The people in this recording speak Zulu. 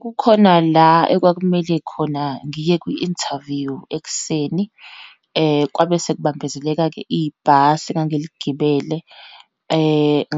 Kukhona la, ekwakumele khona ngiye kwi-interview ekuseni, kwabe sekubambezeleka-ke ibhasi engangiligibele,